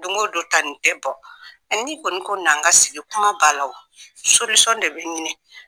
Don ko don tane tɛ bɔ ni kɔni ko n an ka sigi kumabalaw de bɛ ɲini.